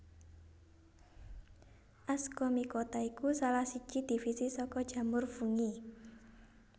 Ascomycota iku salah siji divisi saka jamur fungi